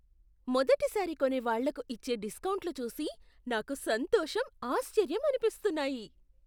మొదటిసారి కొనేవాళ్ళకి ఇచ్చే డిస్కౌంట్లు చూసి నాకు సంతోషం, ఆశ్చర్యం అనిపిస్తున్నాయి.